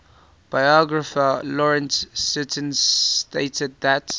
biographer lawrence sutin stated that